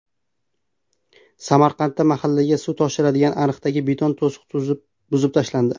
Samarqandda mahallaga suv toshiradigan ariqdagi beton to‘siq buzib tashlandi.